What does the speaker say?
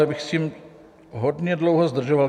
Já bych s tím hodně dlouho zdržoval.